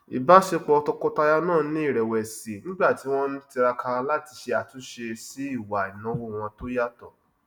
ìbáṣepọ tọkọtaya náà ni irẹwẹsì nígbà tí wọn ń tiraka láti ṣe àtúnṣe sí ìwà ináwó wọn tó yàtọ